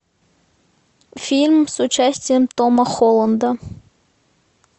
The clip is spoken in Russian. фильм с участием тома холланда